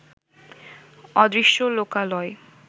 অদৃশ্য লোকালয়